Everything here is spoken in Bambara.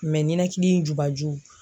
ninakili jubaju.